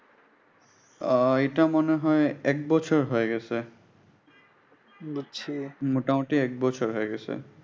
আহ এটা মনে হয় এক বছর হয়ে গেছে। মোটামুটি এক বছর হয়ে গেলো।